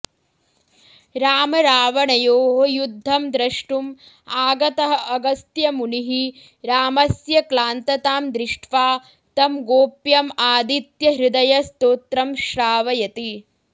रामरावणयोः युद्धं द्रष्टुम् आगतः अगस्त्यमुनिः रामस्य क्लान्ततां दृष्ट्वा तं गोप्यम् आदित्यहृदयस्तोत्रं श्रावयति